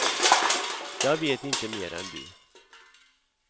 Jag vet inte mer än du.